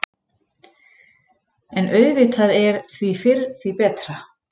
En auðvitað er því fyrr, því betra.